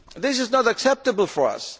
area. This is not acceptable